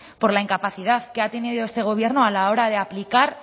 por la incapacidad que ha tenido este gobierno a la hora de aplicar